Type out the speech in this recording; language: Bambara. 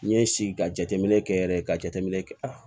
N ye si ka jateminɛ kɛ yɛrɛ ka jateminɛ kɛ